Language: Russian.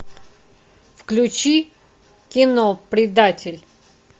включи кино предатель